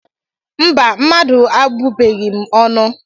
Mba mmadu abubeghim ọnụ.